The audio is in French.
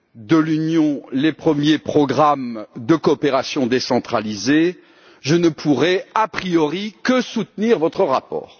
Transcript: de l'Union européenne, les premiers programmes de coopération décentralisée, je ne pourrais a priori que soutenir votre rapport.